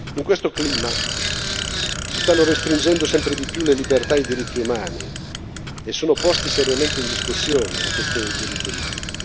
In questo clima si stanno restringendo sempre di più le libertà e i diritti umani e sono poste seriamente in discussione le questioni dei diritti umani.